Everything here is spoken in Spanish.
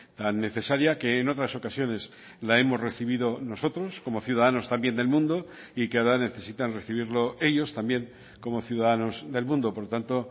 tan necesaria que en otras ocasiones la hemos recibido nosotros como ciudadanos también del mundo y que ahora necesitan recibirlo ellos también como ciudadanos del mundo por lo tanto